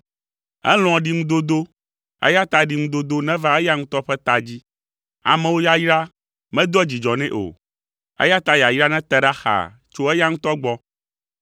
Elɔ̃a ɖiŋudodo, eya ta ɖiŋudodo neva eya ŋutɔ ƒe ta dzi; amewo yayra medoa dzidzɔ nɛ o, eya ta yayra nete ɖa xaa tso eya ŋutɔ gbɔ.